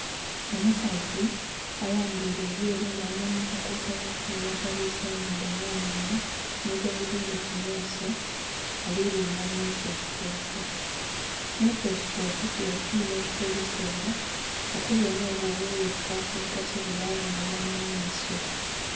Omukazi ayambaire ebyeru nga alina na akakokolo akeeru akabwise enhindho no munhwa ni galubindhi ku maiso ali linga mu "microscope", microscope kiba kyuuma eki kozesebwa okubonha obwo obuwuuka obutasobola ku bonhebwa na maiso.